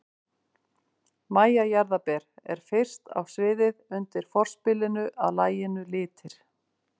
MÆJA JARÐARBER er fyrst á sviðið undir forspilinu að laginu Litir.